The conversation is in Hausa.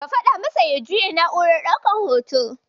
Ka faɗa masa ya juya na'urar ɗaukan hoton.